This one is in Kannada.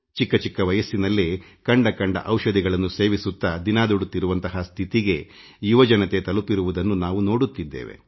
ಚಿಕ್ಕ ಚಿಕ್ಕ ವಯಸ್ಸಿನಲ್ಲೇ ಯುವಜನತೆಗೆ ರೋಗಗಳು ಬರುತ್ತಿರುವುದನ್ನು ನೋಡುತ್ತಿದ್ದೇವೆ